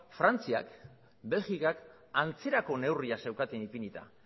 frantziak belgikak antzerako neurriak zeukaten ipinita